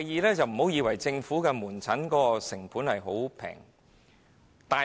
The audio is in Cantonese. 第二，政府門診的成本其實並不便宜。